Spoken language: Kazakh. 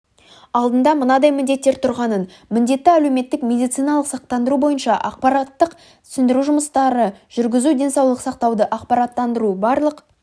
алдында мынадай міндеттер тұрғанын міндетті әлеуметтік медициналық сақтандыру бойынша ақпараттық-түсіндіру жұмыстарыжүргізу денсаулық сақтауды ақпараттандыру барлық